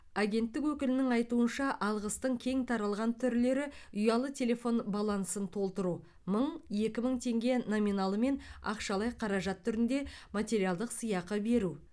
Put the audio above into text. агенттік өкілінің айтуынша алғыстың кең таралған түрлері ұялы телефон балансын толтыру мың екі мың теңге номиналымен ақшалай қаражат түрінде материалдық сыйақы беру